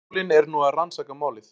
Skólinn er nú að rannsaka málið